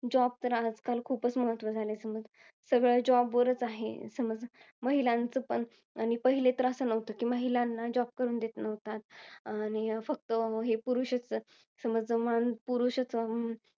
Job तर आता, खूपच महत्वाचे झालेत. सगळं job वरच आहे. महिलांचं पण. आणि पहिले तर असं नव्हतं. कि, महिलांना job करू देत नव्हता, आणि फक्त हे पुरुषच पुरुषच